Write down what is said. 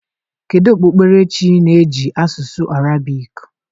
Kedu okpukperechi na-eji asụsụ Arabic?